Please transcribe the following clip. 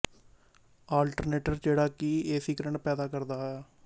alternator ਜਿਹੜਾ ਕਿ A C current ਪੈਦਾ ਕਰਦਾ ਸੀ